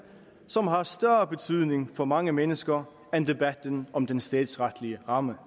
som har større betydning for mange mennesker end debatten om den statsretlige ramme